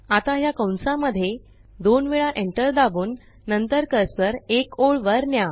आता ह्या कंसांमध्ये दोन वेळा एंटर दाबून नंतर कर्सर एक ओळ वर न्या